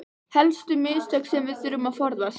Helstu mistök sem við þurfum að forðast